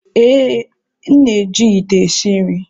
Ee, m na-eji ite esi nri.